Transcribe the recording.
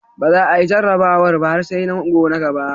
Ba za a yi jarrabawar ba har sai zango na gaba.